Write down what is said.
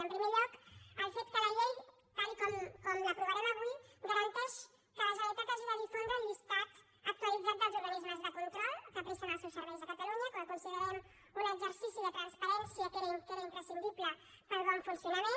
en primer lloc el fet que la llei tal com l’aprovarem avui garanteix que la generalitat hagi de difondre el llistat actualitzat dels organismes de control que presten els seus serveis a catalunya que ho considerem un exercici de transparència que era imprescindible per al bon funcionament